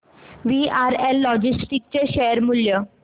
VRL logistics चे share मूल्य